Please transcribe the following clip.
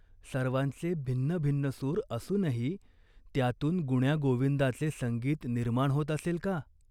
सर्वांचे भिन्नभिन्न सूर असूनही त्यांतून गुण्यागोविंदाचे संगीत निर्माण होत असेल का ?